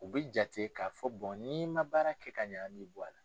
U bɛ jate k'a fɔ ni i man baara kɛ ka ɲa an mi bɔ a la.